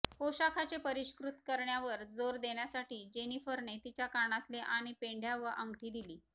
पोशाखाचे परिष्कृत करण्यावर जोर देण्यासाठी जेनिफरने तिच्या कानातले आणि पेंढ्या व अंगठी दिली